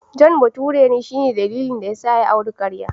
John bature ne, shi ne dalilin da ya sa ya auri karya.